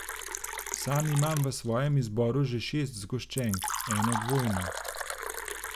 Sam imam v svojem izboru že šest zgoščenk, eno dvojno.